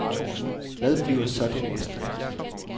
Hvad bliver så det næste?